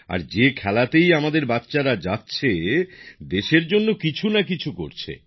আর যে খেলাতেই আমাদের ছেলেমেয়েরা যাচ্ছে তারা দেশের জন্য কিছু না কিছু করছে